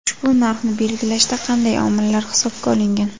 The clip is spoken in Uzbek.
Ushbu narxni belgilashda qanday omillar hisobga olingan?